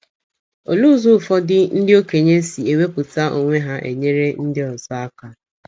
Olee ụzọ ụfọdụ ndị okenye si ewepụta onwe ha enyere ndị ọzọ aka?